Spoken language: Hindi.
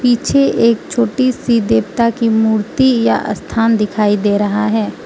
पीछे एक छोटीसी देवता की मूर्ति या स्थान दिखाई दे रहा हैं।